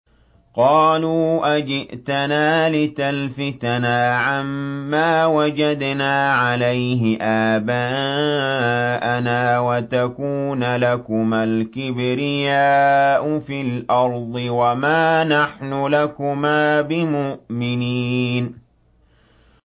قَالُوا أَجِئْتَنَا لِتَلْفِتَنَا عَمَّا وَجَدْنَا عَلَيْهِ آبَاءَنَا وَتَكُونَ لَكُمَا الْكِبْرِيَاءُ فِي الْأَرْضِ وَمَا نَحْنُ لَكُمَا بِمُؤْمِنِينَ